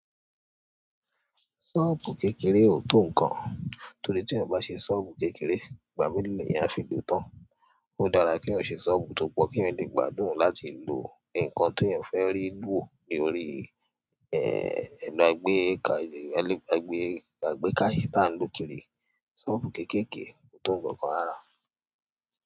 Ṣọ́ọ̀bù kékeré ò tó nǹkan, torí tí ẹeyan bá ṣe ṣọ́ọ̀bù kékeré, ìgbà mélòó ni ẹeyan a fi lòó tán? Ó dára kí eeyan ṣe ṣọ́ọ̀bù tó pọ̀, kí eeyan lè gbádùn láti lo nǹkan tí eeyan fẹ́ rí woo ní orí, ẹ́, ẹ̀rọ̀ àgbékà, àgbékà tà ń lò kiri. Ṣọ́ọ̀bù kéékèèké ò tó nǹkan kan rárá.